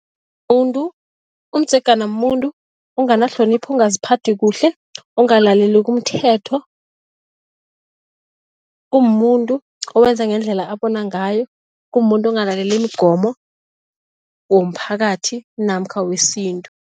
Umdzegana mumuntu onganahlonipho, ongaziphathi kuhle, ongalaleliko umthetho. Kumumuntu owenza ngendlela abona ngayo, kumumuntu ongalaleli imigomo womphakathi namkha wesintu.